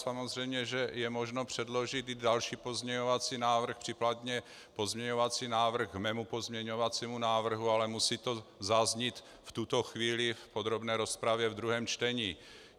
Samozřejmě že je možno předložit i další pozměňovací návrh, případně pozměňovací návrh k mému pozměňovacímu návrhu, ale musí to zaznít v tuto chvíli v podrobné rozpravě ve druhém čtení.